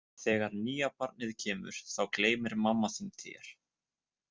Þegar nýja barnið kemur þá gleymir mamma þín þér.